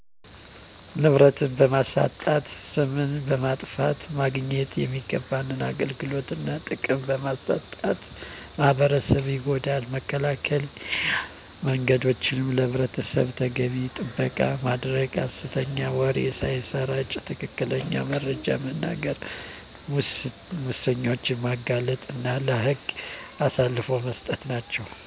ንብረትን በማሳጣት፣ ስምን በማጥፋት፣ ማግኘት የሚገባን አገልግሎት እና ጥቅም በማሳጣት ማህበረሰብን ይጎዳል። መከላከያ መንገዶችም፦ ለንብረት ተገቢውን ጥበቃ ማድረግ፣ ሐሰተኛ ወሬ ሳይሰራጭ ትክክለኛውን መረጃ መናገር፣ ሙሰኞችን ማጋለጥ እና ለህግ አሳልፎ መስጠት ናቸው።